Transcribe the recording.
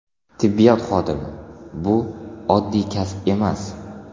Tibbiyot xodimi bu oddiy kasb emas.